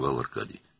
— Arkadi qəzəblənirdi.